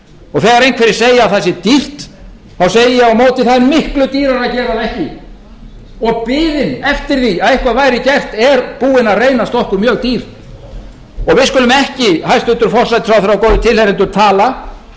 og þegar einhverjir segja að það sé dýrt þá segi ég á móti það er miklu dýrara að gera það ekki og biðin eftir því að eitthvað væri gert er búin að reynast okkur mjög dýr og við skulum ekki hæstvirtur forsætisráðherra og góðir tilheyrendur tala eins og bara